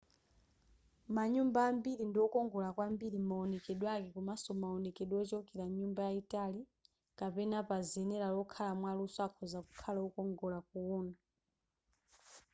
manyumba ambiri ndiokongola kwambiri m'maonekedwe ake komanso maonekedwe ochokera nyumba yayitali kapena pazenera lokhala mwaluso akhoza kukhala okongola kuwona